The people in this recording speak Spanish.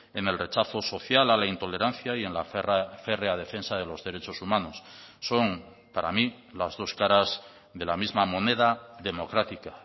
en el rechazo social a la intolerancia y en la férrea defensa de los derechos humanos son para mí las dos caras de la misma moneda democrática